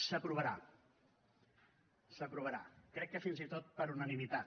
s’aprovarà s’aprovarà crec que fins i tot per unanimitat